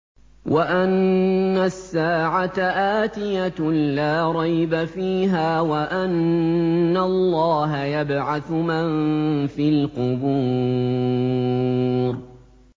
وَأَنَّ السَّاعَةَ آتِيَةٌ لَّا رَيْبَ فِيهَا وَأَنَّ اللَّهَ يَبْعَثُ مَن فِي الْقُبُورِ